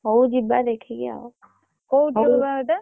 ହଉ ଯିବା ଦେଖିକି ଆଉ।